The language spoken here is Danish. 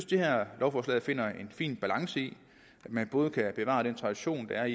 det her lovforslag finder en fin balance i at man både kan bevare den tradition det er